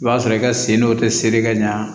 I b'a sɔrɔ i ka sen dɔ tɛ sere ka ɲa